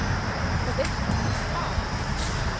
Og veistu bara hvað